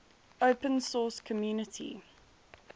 open source community